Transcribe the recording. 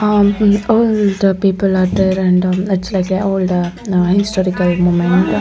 am all the people are the random lets like older historical moment--